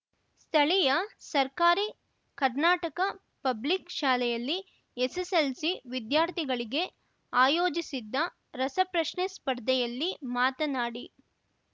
ಸ್ಥಳೀಯ ಸರ್ಕಾರಿ ಕರ್ನಾಟಕ ಪಬ್ಲಿಕ್‌ ಶಾಲೆಯಲ್ಲಿ ಎಸ್ಎಸ್‌ಎಲ್‌ಸಿ ವಿಧ್ಯಾರ್ಥಿಗಳಿಗೆ ಆಯೋಜಿಸಿದ್ದ ರಸಪ್ರಶ್ನೆ ಸ್ಪರ್ಧೆಯಲ್ಲಿ ಮಾತನಾಡಿ